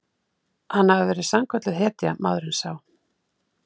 Hann hafi verið sannkölluð hetja, maðurinn sá.